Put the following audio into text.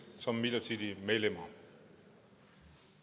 som midlertidige medlemmer